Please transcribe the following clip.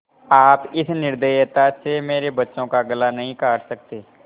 आप इस निर्दयता से मेरे बच्चों का गला नहीं काट सकते